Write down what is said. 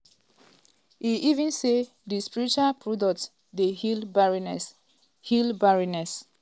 e even say di spiritual products dey heal barrenness. heal barrenness.